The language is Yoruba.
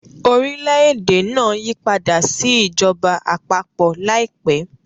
Orílẹ̀-èdè náà yípadà sí ìjọba àpapọ̀ láìpẹ́.